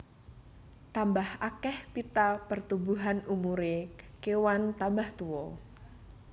Tambah akeh pita pertumbuhan umuré kewan tambah tuwa